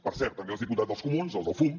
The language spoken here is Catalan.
per cert també els diputats dels comuns els del fum